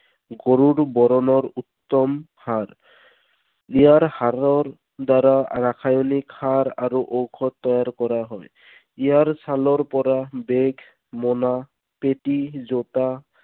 গৰুৰ বৰণৰ উত্তম সাৰ। ইয়াৰ সাৰৰ দ্বাৰা ৰাসায়নিক সাৰ আৰু ঔষধ তৈয়াৰ কৰা হয়। ইয়াৰ ছালৰ পৰা bag, মোনা, পেটি, জোতা,